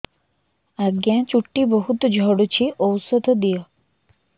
ଆଜ୍ଞା ଚୁଟି ବହୁତ୍ ଝଡୁଚି ଔଷଧ ଦିଅ